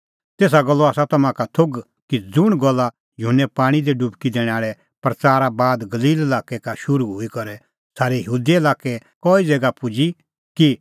तेसा गल्लो आसा तम्हां का थोघ कि ज़ुंण गल्ला युहन्ने पाणीं दी डुबकी दैणें प्रच़ारा बाद गलील लाक्कै का शुरू हई करै सारै यहूदा लाक्कै कई ज़ैगा पुजी कि